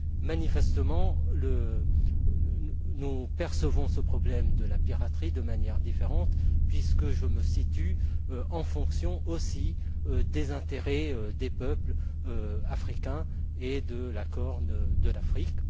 Manifestement, nous percevons ce problème de la piraterie de manière différente puisque je me situe en fonction aussi des intérêts des peuples africains et de la corne de l'Afrique.